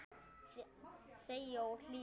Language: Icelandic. Þegja og hlýða.